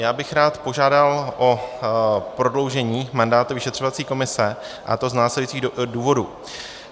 Já bych rád požádal o prodloužení mandátu vyšetřovací komise, a to z následujících důvodů.